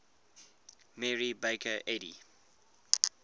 mary baker eddy